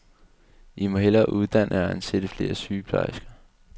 I må hellere uddanne og ansætte flere sygeplejersker.